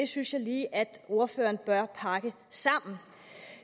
synes jeg lige at ordføreren bør pakke sammen